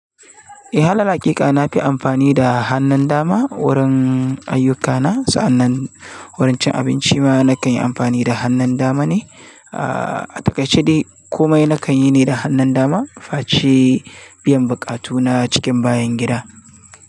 Eh, halalin haƙiƙa na fi amfani da hannun dama wurin ayyuka na. Sa'annan wurin cin abinci ma na kan yi amfani da hannun dama ne. A takaice dai, komai na kan yi ne da hannun dama. Face biyan buƙatuna cikin bayan gida.